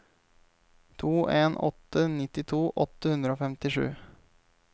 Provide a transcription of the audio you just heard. to en en åtte nittito åtte hundre og femtisju